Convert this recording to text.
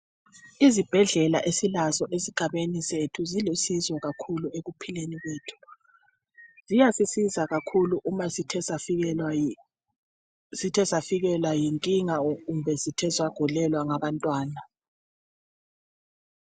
Izibhedlela esilazo esigabeni sethu zilusizo kakhulu ekuphileni kwethu. Ziyasisiza kakhulu uma sithe safikelwa yinkinga kumbe sigulelwa ngabantwana.